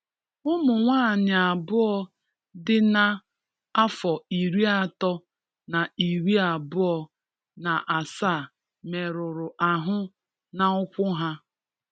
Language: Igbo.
Ụmụ nwaanyị abụọ dị̀ na afọ iri atọ na iri abụo na asaa merụrụ ahụ na ụkwụ há